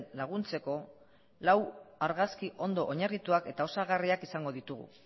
laguntzeko lau argazki ondo oinarrituak eta osagarriak izango ditugu